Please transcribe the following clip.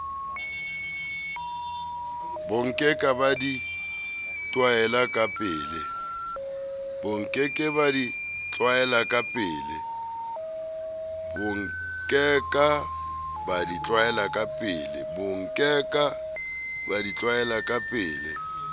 bonkeka ba di tlwaela kapele